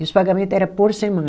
E os pagamento era por semana.